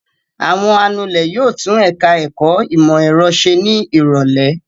Àwọn anulẹ̀ yóò tún ẹ̀ka-ẹ̀kọ́ ìmọ̀-ẹ̀rọ ṣe ní ìrọ́lẹ́.